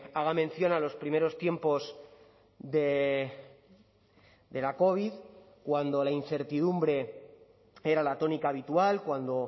haga mención a los primeros tiempos de la covid cuando la incertidumbre era la tónica habitual cuando